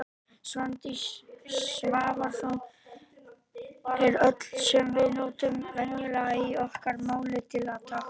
Svandís Svavarsdóttir Eru öll orð sem við notum venjulega í okkar máli til á táknmáli?